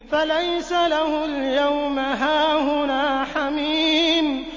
فَلَيْسَ لَهُ الْيَوْمَ هَاهُنَا حَمِيمٌ